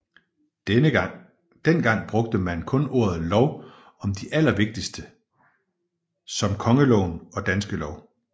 Dengang brugte man kun ordet lov om de allervigtigste som Kongeloven og Danske Lov